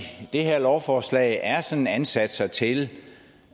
de her lovforslag er sådan ansatser til